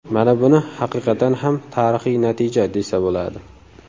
Mana buni haqiqatan ham tarixiy natija desa bo‘ladi.